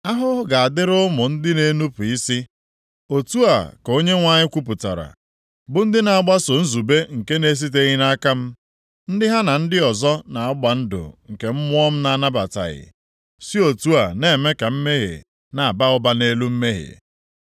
“Ahụhụ ga-adịrị ụmụ ndị nnupu isi,” + 30:1 Nke a bụ nʼihi mmekọrịta ha na ndị Ijipt \+xt 2Ez 18:21.\+xt* otu a ka Onyenwe anyị kwupụtara, “bụ ndị na-agbaso nzube nke na-esiteghị nʼaka m, ndị ha na ndị ọzọ na-agba ndụ nke Mmụọ m na-anabataghị, si otu a na-eme ka mmehie na-aba ụba nʼelu mmehie.